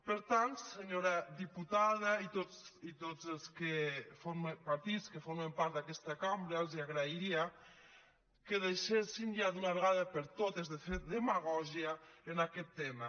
per tant senyora diputada i tots els partits que formen part d’aquesta cambra els agrairia que deixessin ja d’una vegada per totes de fer demagògia en aquest tema